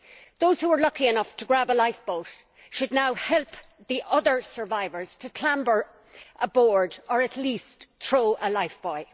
Those who were lucky enough to grab a lifeboat should now help the other survivors to clamber aboard or at least throw a lifebuoy.